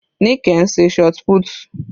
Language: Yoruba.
Nike ń ṣe shotput.